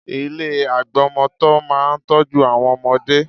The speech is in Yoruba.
Ilé agbọmọtọ́ máa ń tọ́jú àwọn ọmọdé